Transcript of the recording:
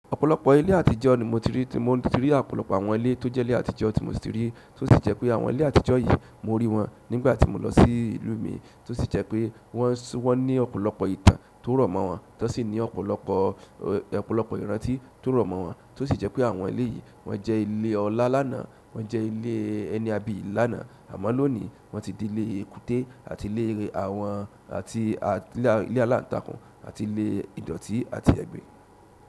Ọ̀pọ̀lọpọ̀ ilé àtijọ́ ni mo ti rí, tí mo ti rí ọ̀pọ̀lọpọ̀ àwọn ilé tó jẹ́ ilé àtijọ́ tí mo ti rí, tó sì jẹ́ pé àwọn ilé àtijọ́ yìí mo rí wọn nígbà tí mo lọ sí ìlú mi, tó sì jẹ́ pé wọ́n sún, wọ́n ní ọ̀pọ̀lọpọ̀ ìtàn tó rọ̀mọ́ wọn, tán sì ní ọ̀pọ̀lọpọ̀, ọ̀pọ̀lọpọ̀ ìrántí tó rọ̀mọ́ wọn, tó sì jẹ́ pé àwọn ilé yìí wọ́n jẹ́ ilé ọlá lánàá, wọ́n jẹ́ ilé ẹni àbíyi lánàá, àmọ́ lónìí wọ́n ti di ilé èkúté àti ilé àwọn, àti ilé aláǹtakùn àti ilé ìdọ̀tí àti ẹgbin.